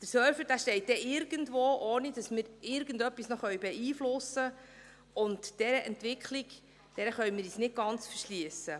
Der Serversteht dann irgendwo, ohne dass wir irgendetwas noch beeinflussen können, und dieser Entwicklung können wir uns nicht ganz verschliessen.